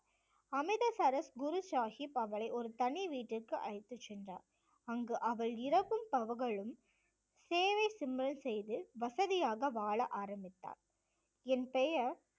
அமிர்தசரஸ் குரு சாஹிப் அவளை ஒரு தனி வீட்டிற்கு அழைத்துச் சென்றார். அங்கு அவள் இரவும் பகலும் சேவை செய்து வசதியாக வாழ ஆரம்பித்தார். என் பெயர்